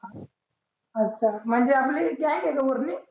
अच्छा, आपली गैंग आहे का पुर्णी?